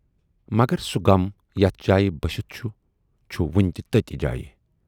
مگر سُہ غم یَتھ جایہِ بٔسِتھ چھُ، چھُ وُنہِ تہِ تٔتھۍ جایہِ۔